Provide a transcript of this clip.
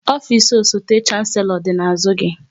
Ofisi osote Shanselo dị n'azụ gị